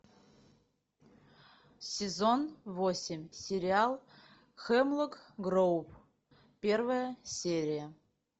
сезон восемь сериал хемлок гроув первая серия